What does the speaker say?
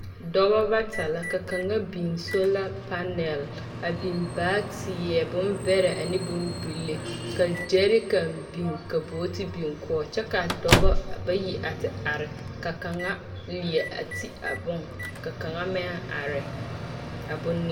Dɔba bata la ka kaŋa biŋ sola panɛl a biŋ baateɛ bombɛrɛ ane bombile ka gyɛɛrikan biŋ ka booti biŋ kɔg kyɛ kaa dɔbɔ bayi a te are ka kaŋa leɛ a te ti a bone ka kaŋa meŋ are a bone.